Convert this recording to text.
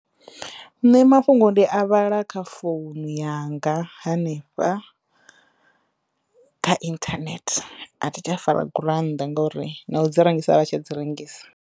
Nṋe mafhungo ndi a vhala kha founu yanga hanefha kha inthanethe a thi tsha fara gurannda ngauri na u dzi rengisa a vha tsha dzi rengisa.